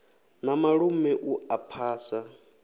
na malume u a phasa